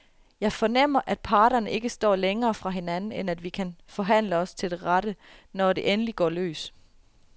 Jeg fornemmer, at parterne ikke står længere fra hinanden, end at vi kan forhandle os til rette, når det endelig går løs.